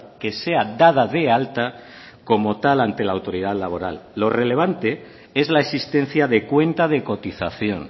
que sea dada de alta como tal ante la autoridad laboral lo relevante es la existencia de cuenta de cotización